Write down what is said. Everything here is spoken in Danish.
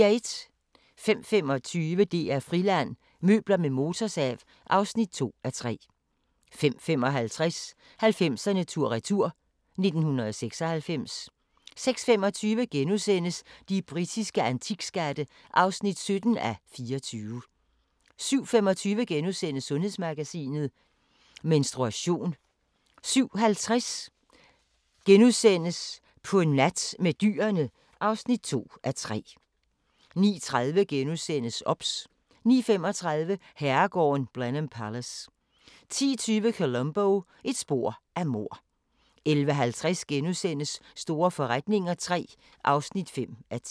05:25: DR-Friland: Møbler med motorsav (2:3) 05:55: 90'erne tur-retur: 1996 06:25: De britiske antikskatte (17:24)* 07:25: Sundhedsmagasinet: Menstruation * 07:50: På nat med dyrene i zoologisk have * 08:40: De fantastiske dyreunger (2:3)* 09:30: OBS * 09:35: Herregården Blenheim Palace 10:20: Columbo: Et spor af mord 11:50: Store forretninger III (5:10)*